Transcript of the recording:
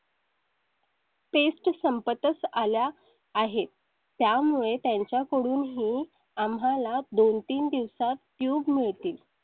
paste संपत च आल्या आहेत. त्यामुळे त्यांच्याकडून आम्हाला दोन तीन दिवसात tube मिळतील.